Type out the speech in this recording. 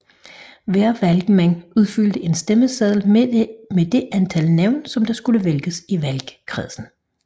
Hver valgmand udfyldte en stemmeseddel med det antal navne som der skulle vælges i valgkredsen